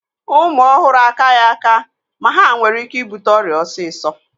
Ụmụ ọhụrụ akaghị aka ma ha nwere ike ibute ọrịa osisọ